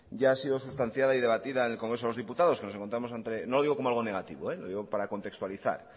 ya ha sido sustanciada y debatida en el congreso de los diputados no lo digo como algo negativo lo digo para contextualizar